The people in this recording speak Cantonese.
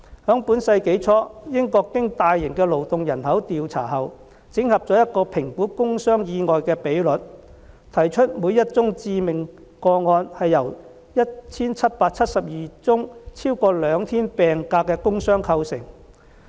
在本世紀初，英國經大型勞動人口調查後，整合了一個評估工傷意外的比率，提出每宗致命個案是由 1,772 宗超過兩天病假的工傷構成。